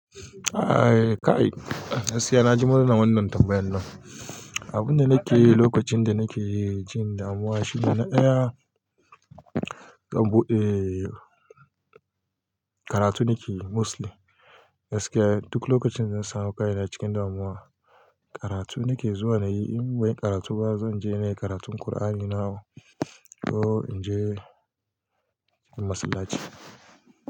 Ai kai, gaskiya na ji murna wannan tambayan nan. Abun da nake yi lokacin da nake cikin damuwa shine na tsaya in bude karatu nike yi mostly. Gaskiya duk lokacin zan samu kai na cikin damuwa, karatu nake zuwa na yi. In ban yi karatu ba, zan je na yi karatun Qur'ani na ko in je masallaci.